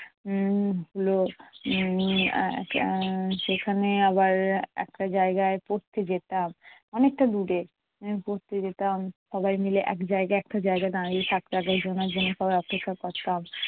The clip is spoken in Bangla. উম ভালো উম সেখানে আবার একটা জায়গায় পড়তে যেতাম, অনেকটা দূরে পড়তে যেতাম। সবাই মিলে একজায়গায় একটা জায়গায় দাঁড়িয়ে থাকতাম একজন আরেকজনের সবাই অপেক্ষা করতাম